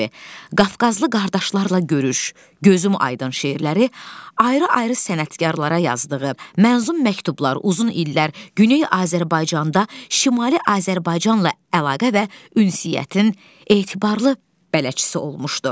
Qafqazlı qardaşlarla görüş, Gözüm aydın şeirləri, ayrı-ayrı sənətkarlara yazdığı mənzum məktublar uzun illər Güney Azərbaycanda, Şimali Azərbaycanla əlaqə və ünsiyyətin etibarlı bələdçisi olmuşdu.